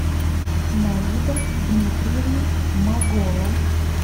наида дмитриевна магола